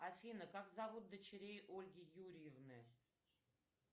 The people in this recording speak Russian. афина как зовут дочерей ольги юрьевны